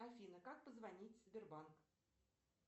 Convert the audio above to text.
афина как позвонить в сбербанк